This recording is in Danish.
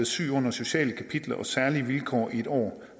syg under sociale kapitler og særlige vilkår i en år